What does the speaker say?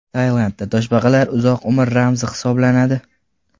Tailandda toshbaqalar uzoq umr ramzi hisoblanadi.